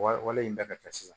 Wale in bɛɛ ka kɛ sisan